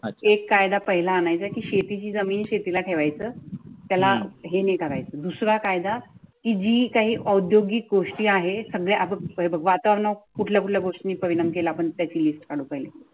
एक कायदा पहिला आणायची शेतीची जमीन शेतीला ठेवायचा त्याला हे नाही करायचे. दुसरा कायद जी काही औद्योगिक गोष्टी आहे सगळे वातावरण कुठल्या गोष्टी परिणाम केला पण त्याची लिस्ट काढटा येईल